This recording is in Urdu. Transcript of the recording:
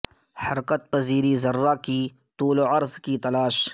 حرکت پذیری ذرہ کی طول و عرض کی تلاش